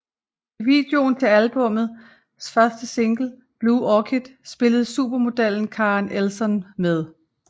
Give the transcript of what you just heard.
I videoen til albummets første single Blue Orchid spillede supermodellen Karen Elson med